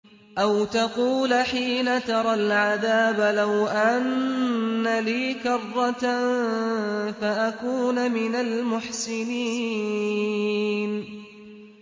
أَوْ تَقُولَ حِينَ تَرَى الْعَذَابَ لَوْ أَنَّ لِي كَرَّةً فَأَكُونَ مِنَ الْمُحْسِنِينَ